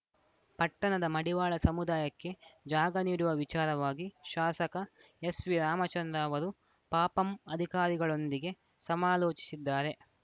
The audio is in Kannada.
ಪಟ್ಟಣದ ಮಡಿವಾಳ ಸಮುದಾಯಕ್ಕೆ ಜಾಗ ನೀಡುವ ವಿಚಾರವಾಗಿ ಶಾಸಕ ಎಸ್‌ವಿ ರಾಮಚಂದ್ರ ಅವರು ಪಪಂ ಅಧಿಕಾರಿಗಳೊಂದಿಗೆ ಸಮಾಲೋಚಿಸಿದ್ದಾರೆ